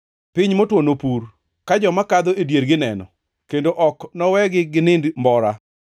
Piny motwo nopur, ka joma kadho e diergi neno, kendo ok nowegi ginind mbora.